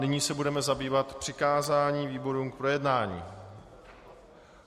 Nyní se budeme zabývat přikázáním výborům k projednání.